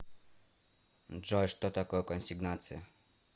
джой что такое консигнация